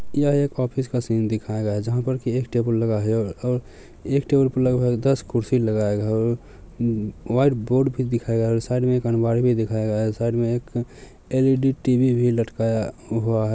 यह एक ऑफिस का सीन दिखाया है जहां पर की एक टेबल लगाया गया है और एक टेबल पे दस कुर्सी लगाया गया है व्हाइट बोर्ड भी दिखाया गया है और साइड मे एक अलमारी भी दिखाया गया है साइड मे एक अल_ई_डी टी_वी भी लटकाया हुआ है।